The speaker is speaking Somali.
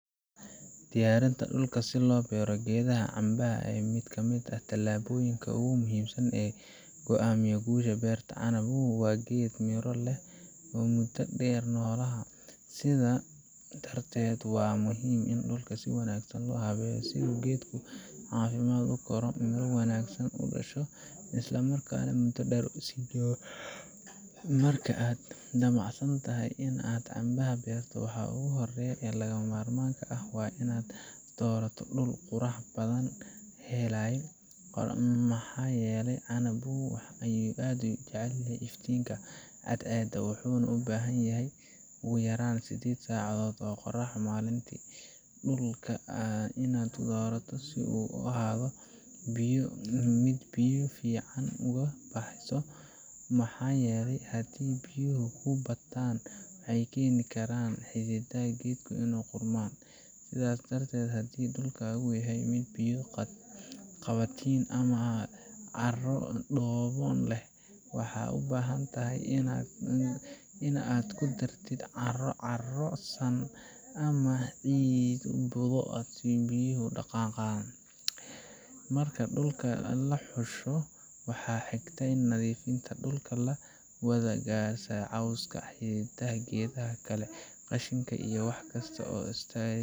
Diyaarinta dhulka si loo beero geedaha canbaha waa mid ka mid ah tallaabooyinka ugu muhiimsan ee go'aamiya guusha beerta. Canbuhu waa geed miro leh oo muddo dheer noolaada, sidaa darteed waa muhiim in dhulka si wanaagsan loo habeeyo si uu geedku si caafimaad leh u koro, miro wanaagsan u dhasho, islamarkaana muddo dheer u sii jiro. Marka aad damacsan tahay in aad canbaha beerto, waxa ugu horreeya ee lagama maarmaanka ah waa in aad doorato dhul qorax badan helaya, maxaa yeelay canbuhu aad ayuu u jecel yahay iftiinka cadceedda, wuxuuna u baahan yahay ugu yaraan 8 saacadood oo qorrax ah maalintii. Dhulka aad doorato waa inuu ahaadaa mid biyo si fiican uga baxayso, maxaa yeelay haddii biyuhu ku bataan waxay keeni karaan in xididdada geedku ay qudhmaan. Sidaa darteed, haddii dhulkaagu yahay mid biyo-qabatin ah ama carro dhoobo ah leh, waxaad u baahan tahay in aad ku dartid carro carro-san ama ciid budo ah si biyuhu u dhaqaaqaan. Marka dhulka la xusho, waxa xigta waa nadiifinta. Dhulka waa in laga saaraa cawska, xididdada geedaha kale, qashinka iyo wax kasta oo hor istaagi